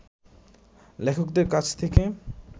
লেখকদের কাছ থেকে